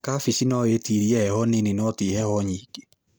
Kabeci no ĩtirie heho nini noti heho nyingĩ.